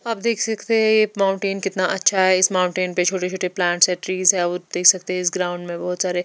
आप देख सकते है ये माउंटेन कितना अच्छा है इस माउंटेन पे छोटे-छोटे प्लांट्स है ट्रीज और देख सकते है इस ग्राउंड में बहोत सारे --